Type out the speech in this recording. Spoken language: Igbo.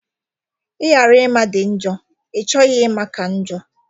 Ịghara ịma dị njọ; ịchọghị ịma ka njọ